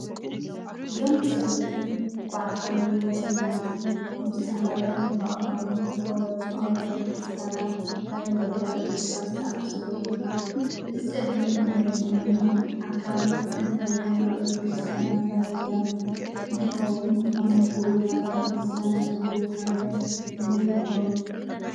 እዞም ጸበብቲ ባዓታዊ መስመራትን ምስ ጥንታውያን ብኣኻውሕ ዝተቖርጹ ኣብያተ ክርስቲያናት ላሊበላ ኢትዮጵያ ዝተኣሳሰሩ እዮም። እዚ ጸቢብ መሕለፊ እምኒ ኣካል ጥንታውያን ኣብያተ ክርስቲያናት ላሊበላ እንተኾይኑ ኣብ መንጎ እዘን ኣብያተ ክርስቲያናት ዘሎ ታንከር ክንደይ ይኸውን?